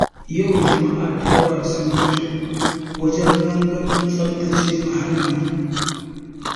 Yau jama'a da yawa sun fito wajen gangamin tsaftace muhalli.